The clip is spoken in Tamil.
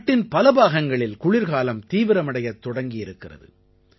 நாட்டின் பல பாகங்களில் குளிர்காலம் தீவிரமடையத் தொடங்கி இருக்கிறது